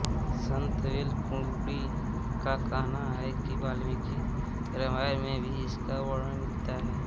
संत वेल कुडी का कहना है कि बाल्मीकी रामायण में भी इसका वर्णन मिलता है